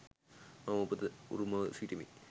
මම උපත උරුමව සිටිමි.